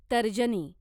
तर्जनी